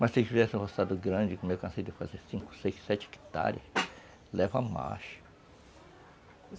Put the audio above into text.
Mas se tiver essa roçada grande, como eu cansei de fazer cinco, seis, sete hectares, lava mais